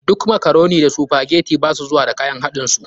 Duk makaroni da sphagetii ba su zuwa da kayan haɗin su.